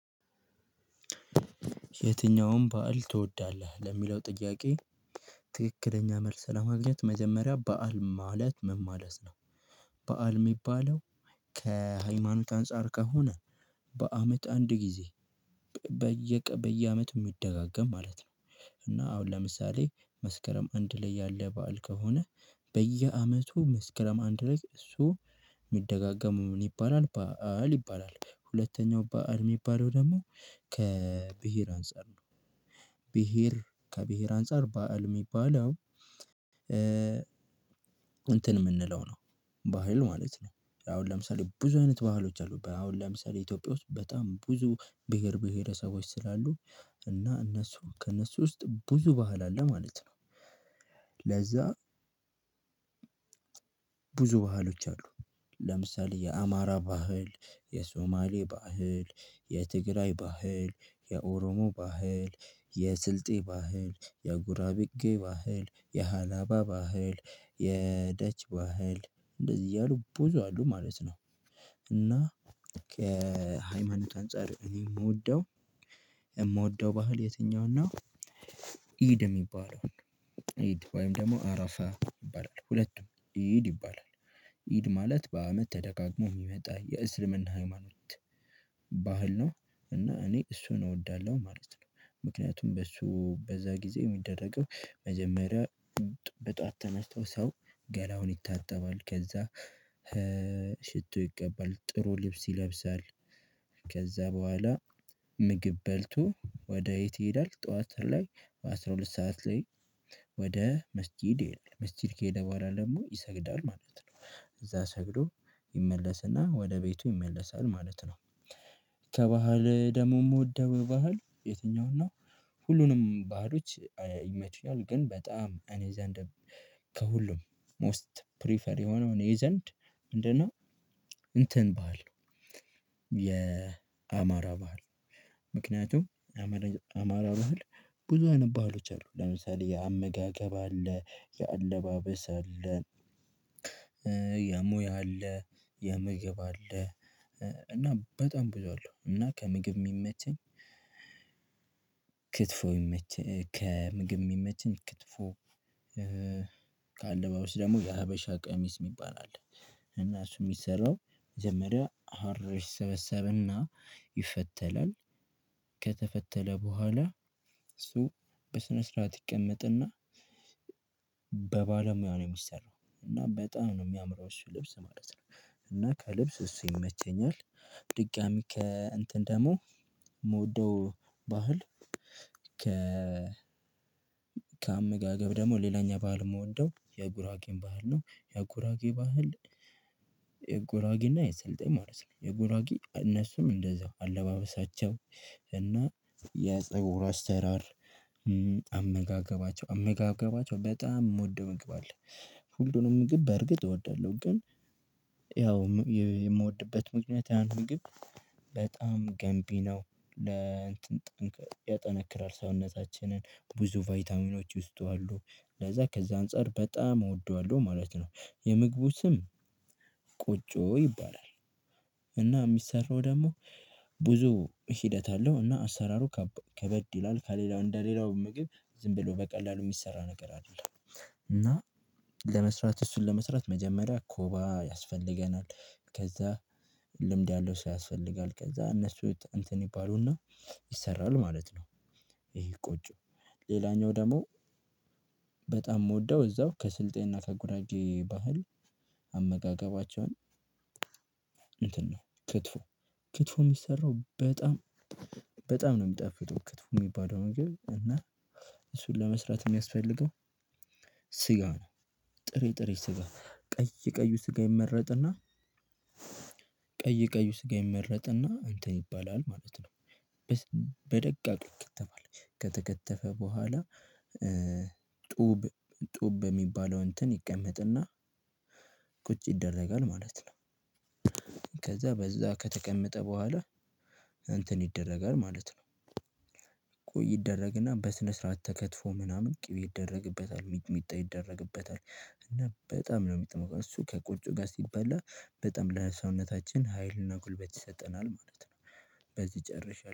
የትኛውም በዓል ትወዳለህ ለሚለው ጥያቄ ትክክለኛ መልስ ለማግኘት መጀመሪያ በዓል ማለት ምን ማለት ነው? በዓል የሚባለው ከሃይማኖት አንፃር ከሆነ በአመት አንድ ጊዜ። በየአመት የሚደጋገም ማለት ነው። እና አሁን ለምሳሌ መስከረም አንድ ላይ ያለ በዓል ከሆነ በየአመቱ መስከረም አንድ ላይ እሱ የሚደጋገሙ ምን ይባላል በዓል ይባላል። ሁለተኛው በዓል የሚባለው ደግሞ ከብሄር አንፃር ነው። ብሄር ከብሄር አንፃር በዓል የሚባለው እንትን የምንለው ነው። ባህል ማለት ነው። አሁን ለምሳሌ ብዙ አይነት ባህሎች አሉ አሁን ለምሳሌ ኢትዮጵያ ውስጥ በጣም ብዙ ብሄር ብሄረሰቦች ስላሉ እና እነሱ በቃ ከእነሱ ውስጥ ብዙ ባህል አለ ማለት ነው። ለዛ ብዙ ባህሎች አሉ። ለምሳሌ የአማራ ባህል የሶማሌ ባህል የትግራይ ባህል የኦሮሞ ባህል የስልጤ ባህል የጉራቢጌ ባህል የሃላባ ባህል የደች ባህል እንደዚህ እያሉ ቡዙ አሉ ማለት ነው። እና ከሃይማኖት አንፃር እኔ የምወደው የምወደው ባህል የትኛው ነው? ኢድ የሚባለውን ኢድ ወይም ደግሞ አረፋ ይባላል ሁለቱም ኢድ ይባላል። ኢድ ማለት በአመት ተደጋግሞ ሚመጣ የእስልምና ሃይማኖት በሀል ነው። እና እኔ እሱን እወዳለው ማለት ነው። ምክንያቱም በሱ ጊዜ ሚደረገው መጀመሪያ በጠዋት ተነስቶ ሰው ገላውን ይታጠባል ከዛ ሽቶ ይቀባል ጥሩ ልብስ ይለብሳል። ከዛ በኋላ ምግብ በልቶ ወደ የት ይሄዳል ጠዋት ላይ በአስራ ሁለት ሰዓት ላይ ወደ መስጊድ ይሄዳል። መስጊድ ከሄደ በኋላ ደግሞ ይሰግዳል ማለት ነው እዛ ሰግዶ ይመለስና ወደ ቤቱ ይመለሳል ማለት ነው። ከባህል ደግሞ የምወደው ባህል የትኛው ነው? ሁሉንም ባህሎች ይመቹኛል ግን በጣም ከኔ ዘንድ ከሁሉም ሞስት ፕሪፈር የሆነው እኔ ዘንድ ምንድነው? እንትን ባህል የአማራ ባህል ምክንያቱም አማራ ባህል ብዙ አይነት ባህሎች አሉ ለምሳሌ የአመጋገብ አለ የአለባበስ አለ። የሙያ አለ የምግብ አለ እና በጣም ብዙ አለው እና ከምግብ የሚመቸኝ ክትፎ የሚመቸኝ ከምግብ የሚመቸኝ ክትፎ። ከአለባበስ ደግሞ የሀበሻ ቀሚስ የሚባል አለ እና እሱ የሚሰራው መጀመሪያ ሀር ይሰበሰብና ይፈተላል። ከተፈተለ በኋላ እሱ በስነ ስርዓት ይቀመጥና በባለሙያ ነው የሚሰራው እና በጣም ነው የሚያምረው እሱ ልብስ ማለት ነው። እና ከልብስ እሱ ይመቸኛል። ድጋሚ ከ እንትን ደግሞ የምወደው ባህል ከ ከአመጋገብ ደግሞ ሌላኛው ባህል የምወደው የጉራጌን ባህል ነው። የጉራጌ ባህል የጉራጌና የስልጤ ማለት ነው የጉራጌ እነሱም እንደዛው አለባበሳቸው እና የፀጉር አሰራር አመጋገባቸው አመጋገባቸው በጣም የምወደው ምግብ አለ። ሁሉንም ምግብ በእርግጥ እወዳለሁ ግን ያው የምወድበት ምክንያት ያን ግብ በጣም ገንቢ ነው። ለእንትን ጠንክ ያጠነክራል ሰውነታችንን ብዙ ቫይታሚኖች ውስጡ አሉ ለዛ ከዛ አንፃር በጣም እወደዋለሁ ማለት ነው። የምግቡ ስም ቆጮ ይባላል። እና የሚሰራው ደግሞ ብዙ ሂደት አለው እና አሰራሩ ከበድ ይላል ከሌላው እንደ ሌላው ምግብ ዝም ብሎ በቀላሉ የሚሰራ ነገር አይደለም። እና ለመስራት እሱን ለመስራት መጀመሪያ ኮባ ያስፈልገናል ከዛ ልምድ ያለው ሰው የስፈልጋል ከዛ እነሱ እንትን ይባሉና ይሰራል ማለት ነው። ይሄ ቆጮ ሌላኛው ደግሞ በጣም የምወደው እዛው ከስልጤና ከጉራጌ ባህል አመጋገባቸውን እንትን ነው ክትፎ ክትፎ የሚሰራው በጣም በጣም ነው የሚጣፍጠው። ክትፉ የሚባለው ምግብ እና እሱን ለመስራት የሚያስፈልገው ስጋ ነው። ጥሬ ጥሬ ስጋ ቀይ ቀዩ ስጋ ይመረጥና ቀይ ቀይ ስጋ ይመረጥና እንተን ይባላል ማለት ነው። በደቂቃ ይከተላል ከተከተፈ በኋላ ጡብ ጡብ በሚባለው እንትን ይቀመጥና ቁጭ ይደረጋል ማለት ነው። ከዛ በዛ ከተቀመጠ በኋላ እንትን ይደረጋል ማለት ነው። ቆይ ይደረግና በስነ ስርዓት ተከትፎ ምናምን ቅቤ ይደረግበታል ሚጥሚጥ ይደረግበታል እና በጣም ነው የሚጥመው እሱ ከቆጮ ጋር ሲበላ በጣም ለሰውነታችን ሀይልና ጉልበት ይሰጠናል ማለት ነው። በዚህ ጨርሻለው